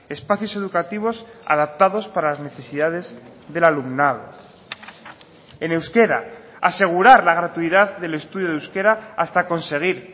espacios educativos adaptados para las necesidades del alumnado en euskera asegurar la gratuidad del estudio de euskera hasta conseguir